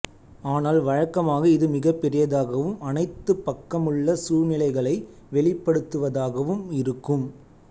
ஆனால் வழக்கமாக இது மிகப்பெரியதாகவும் அனைத்து பக்கமுள்ள சூழ்நிலைகளை வெளிப்படுத்துவதாகவும் இருக்கும்